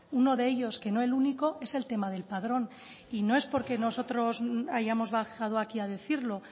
uno de ellos que no el único es el tema del padrón y no es porque nosotros hayamos bajado aquí a decirlo